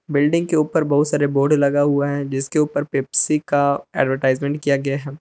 Building के ऊपर बहुत सारे बोर्ड लगा हुआ है जिसके ऊपर पेप्सी का एडवर्टाइजमेंट किया गया है।